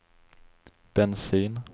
bensin